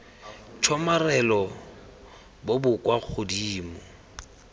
tshomarelo bo bo kwa godimo